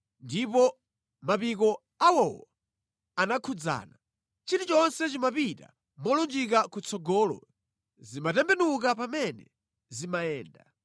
ndipo mapiko awowo anakhudzana. Chilichonse chimapita molunjika kutsogolo; sizimatembenuka pamene zimayenda.